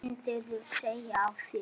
Myndirðu segja af þér?